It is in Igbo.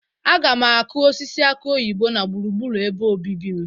Aga m akụ osisi akụ oyibo na gburugburu ebe obibi m.